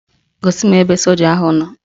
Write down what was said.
Gosi m ebe soja ahụ nọ